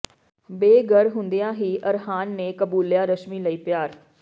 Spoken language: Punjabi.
ਬੇਘਰ ਹੁੰਦਿਆਂ ਹੀ ਅਰਹਾਨ ਨੇ ਕਬੂਲਿਆ ਰਸ਼ਮੀ ਲਈ ਪਿਆਰ